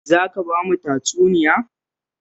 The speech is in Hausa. Zo ka ba mu tatsuniya